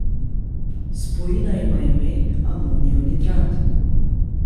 Spojina ima ime amonijev nitrat.